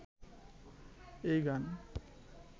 এই গান